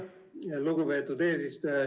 Aitäh, lugupeetud eesistuja!